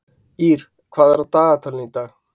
Ýrr, hvað er á dagatalinu í dag?